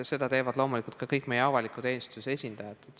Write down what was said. Seda teevad loomulikult ka kõik meie avaliku teenistuse esindajad.